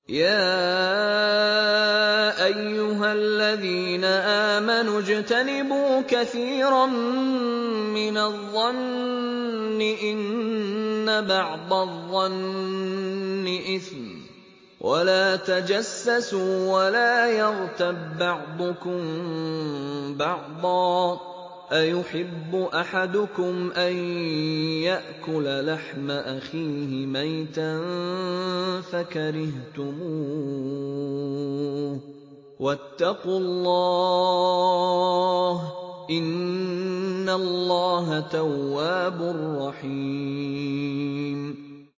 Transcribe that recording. يَا أَيُّهَا الَّذِينَ آمَنُوا اجْتَنِبُوا كَثِيرًا مِّنَ الظَّنِّ إِنَّ بَعْضَ الظَّنِّ إِثْمٌ ۖ وَلَا تَجَسَّسُوا وَلَا يَغْتَب بَّعْضُكُم بَعْضًا ۚ أَيُحِبُّ أَحَدُكُمْ أَن يَأْكُلَ لَحْمَ أَخِيهِ مَيْتًا فَكَرِهْتُمُوهُ ۚ وَاتَّقُوا اللَّهَ ۚ إِنَّ اللَّهَ تَوَّابٌ رَّحِيمٌ